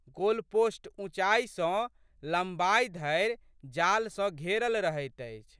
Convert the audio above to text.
Goalpost ऊँचाइ सँ लंबाइ धरि जाल सँ घेरल रहैत अछि।